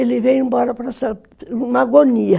Ele veio embora numa agonia.